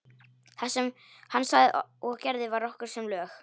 Það sem hann sagði og gerði var okkur sem lög.